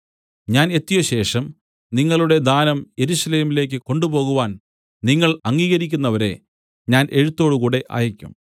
ഞാൻ എത്തിയശേഷം നിങ്ങളുടെ ദാ‍നം യെരൂശലേമിലേക്ക് കൊണ്ടുപോകുവാൻ നിങ്ങൾ അംഗീകരിക്കുന്നവരെ ഞാൻ എഴുത്തോടുകൂടെ അയയ്ക്കും